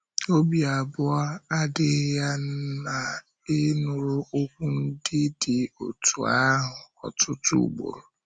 Ọ̀bì abụọ adịghị ya na ị nụrụ okwu ndị dị otú ahụ ọtụtụ ugboro.